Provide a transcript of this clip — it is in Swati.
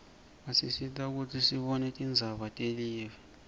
basisita kutsi sibone tindzaba telive